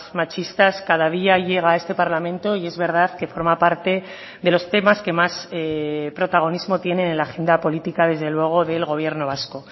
machistas cada día llega a este parlamento y es verdad que forma parte de los temas que más protagonismo tienen en la agenda política desde luego del gobierno vasco